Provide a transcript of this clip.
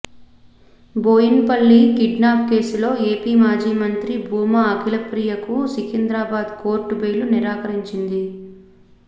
బోయిన్ పల్లి కిడ్నాప్ కేసులో ఏపీ మాజీ మంత్రి భూమా అఖిలప్రియ కు సికింద్రాబాద్ కోర్టు బెయిల్ నిరాకరించింది